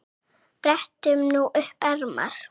Brettum nú upp ermar.